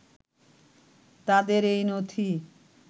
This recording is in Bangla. তাদের এই নথি